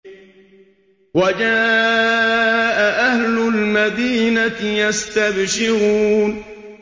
وَجَاءَ أَهْلُ الْمَدِينَةِ يَسْتَبْشِرُونَ